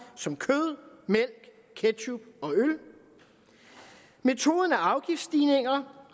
som kød mælk ketchup og øl metoden er afgiftsstigninger